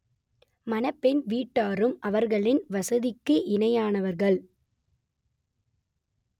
மணப்பெண் வீட்டாரும் அவர்களின் வசதிக்கு இணையானவர்கள்